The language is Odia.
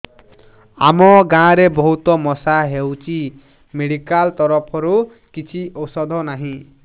ଆମ ଗାଁ ରେ ବହୁତ ମଶା ହଉଚି ମେଡିକାଲ ତରଫରୁ କିଛି ଔଷଧ ନାହିଁ